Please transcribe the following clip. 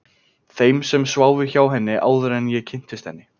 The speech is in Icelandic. Þeim sem sváfu hjá henni, áður en ég kynntist henni.